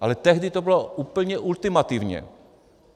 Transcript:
Ale tehdy to bylo úplně ultimativně.